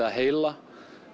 að heila